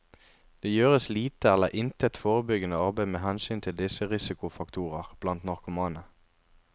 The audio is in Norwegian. Det gjøres lite eller intet forebyggende arbeid med hensyn til disse risikofaktorer blant narkomane.